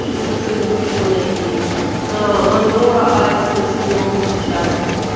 что-нибудь ещё найти мондора асти очень много сейчас